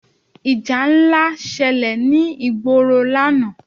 Ìjà ńlá ṣẹlẹ̀ ní ìgboro lánàá.